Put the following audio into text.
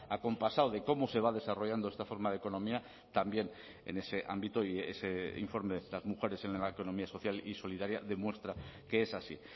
acompasado de cómo se va desarrollando esta forma de economía también en ese ámbito y ese informe las mujeres en la economía social y solidaria demuestra que es así